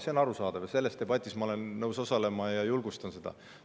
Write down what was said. See on arusaadav ja selles debatis ma olen nõus osalema ja julgustan seda.